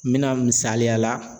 N bɛna misaliya la.